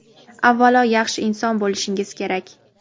Avvalo yaxshi inson bo‘lishingiz kerak.